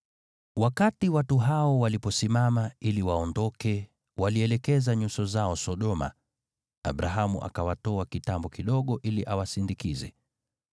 Wakati watu hao waliposimama ili waondoke, walielekeza nyuso zao Sodoma, Abrahamu akawatoa kitambo kidogo ili awasindikize.